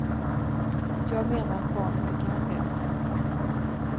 Jag menar att barn inte kan det.